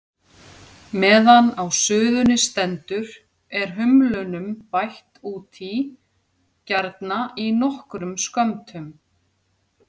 Meðan á suðunni stendur er humlunum bætt út í, gjarna í nokkrum skömmtum.